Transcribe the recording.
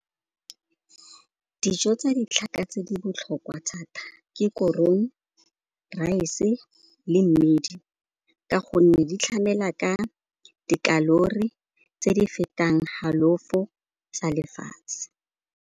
Dijo tsa ditlhaka tse di botlhokwa thata ke korong, rice-e le mmidi ka gonne di tlhamela ka dikalori tse di fetang halofo tsa lefatshe.